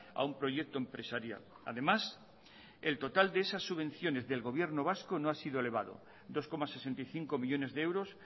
a un proyecto empresarial además el total de esas subvenciones del gobierno vasco no ha sido elevado dos coma sesenta y cinco millónes de euros